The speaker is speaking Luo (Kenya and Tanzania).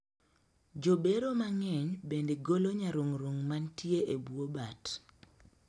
Jobero mang'eny bende golo nyarung'rung' mantie e bwo bat